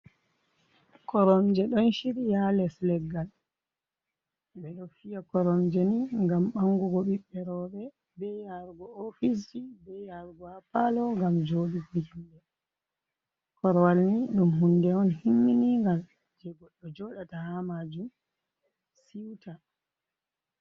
Koromje ɗon shiryi ha les leggal ɓe ɗo fiya koromje ni ngam ɓangugo ɓiɓɓe rowɓe be yarugo ha ofis ji, be yarugo ha palo ngam joɗuki himɓe. Korwal ni ɗum hunde on himminiga je goɗɗo joɗata ha majum siuta.